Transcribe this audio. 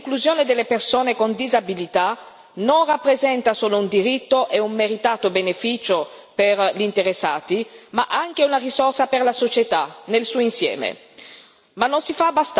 Abbiamo ricordato che l'inclusione delle persone con disabilità non rappresenta solo un diritto e un meritato beneficio per gli interessati ma anche una risorsa per la società nel suo insieme.